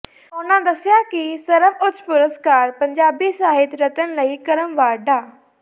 ਉਨ੍ਹਾਂ ਦੱਸਿਆ ਕਿ ਸਰਵਉੱਚ ਪੁਰਸਕਾਰ ਪੰਜਾਬੀ ਸਾਹਿਤ ਰਤਨ ਲਈ ਕ੍ਰਮਵਾਰ ਡਾ